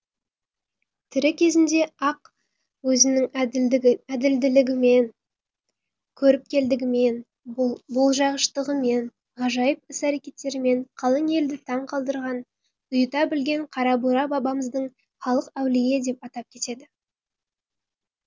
тірі кезінде ақ өзінің әділдігімен көріпкелдігімен болжағыштығымен ғажайып іс әрекеттерімен қалың елді таң қалдырған ұйыта білген қарабура бабамызды халық әулие деп атап кетеді